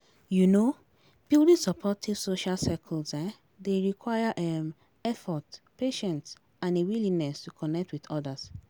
um Building supportive social circles um dey require um effort, patience and a willingness to connect with odas.